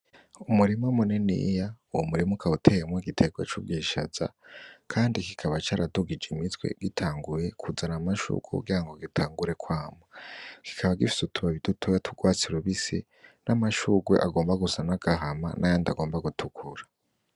Umurima muniniya, uwo murima ukaba uteyemwo igiterwa c'ubwishaza, kandi kikaba caradugijwe imitwe itanguye kuzana amashurwe kugira gitangure kwama, kikaba gifise utubabi dutoya tw'urwatsi rubisi n'amashurwe agomba gusa n'agahama n'ayandi agomba gutukura